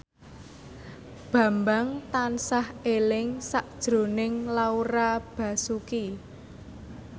Bambang tansah eling sakjroning Laura Basuki